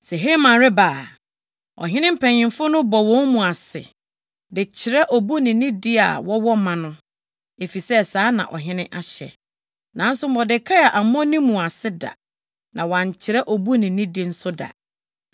Sɛ Haman reba a, ɔhene mpanyimfo no bɔ wɔn mu ase de kyerɛ obu ne nidi a wɔwɔ ma no, efisɛ saa na ɔhene ahyɛ. Nanso Mordekai ammɔ ne mu ase da, na wankyerɛ obu ne nidi nso da.